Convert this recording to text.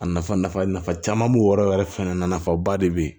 A nafa nafa caman b'o yɔrɔ yɛrɛ fɛnɛ na nafaba de be yen